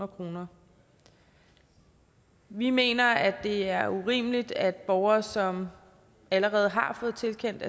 kroner vi mener at det er urimeligt at borgere som allerede har fået tilkendt